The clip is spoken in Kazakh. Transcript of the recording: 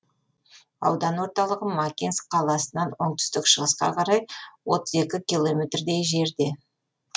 аудан орталығы макинск қаласынан оңтүстік шығысқа қарай отыз екі километрдей жерде